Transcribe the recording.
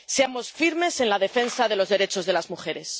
Seamos firmes en la defensa de los derechos de las mujeres.